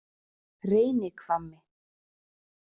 Reynihvammi